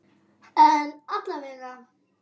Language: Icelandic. En alla vega.